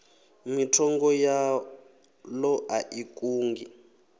mithenga yaḽo a i kungi